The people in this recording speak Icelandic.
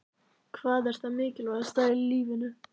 Hvað er það mikilvægasta í lífinu?